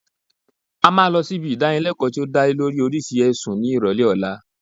A máa lọ sí ibi ìdánilẹkọ́ tí ó dá lé lórii oríṣi ẹ̀sùn ní ìrọ̀lẹ́ ọ̀la